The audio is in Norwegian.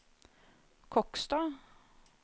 Kokstad